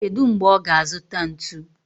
Kedu mgbe ọ ga-azụta ntu?